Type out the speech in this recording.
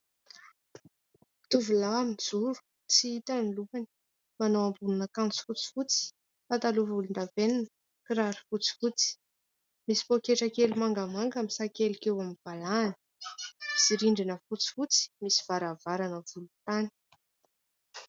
Tovolahy mijoro. Tsy hita ny lohany. Manao ambonin'akanjo fotsifotsy, pataloha volon-davenona, kiraro fotsifotsy, misy poketra kely mangamanga misakelika eo amin'ny valahany; misy rindrina fotsifotsy, misy varavarana volontany.